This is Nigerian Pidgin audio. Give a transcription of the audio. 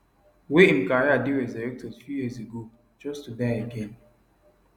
wey im career dey resurrected few years ago just to die again